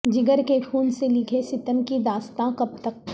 جگر کے خون سے لکھیں ستم کی داستاں کب تک